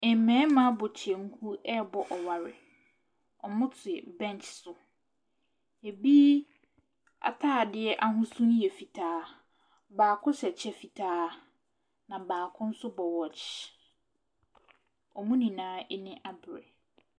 Mmarima abɔ kyɛnku ɛrebɔ ɔware, wɔtete bench so, bi ataadeɛ ahosu ne yɛ fitaa, baako hyɛ kyɛ fitaa na baako nso bɔ watch, wɔn nyinaa ani abere.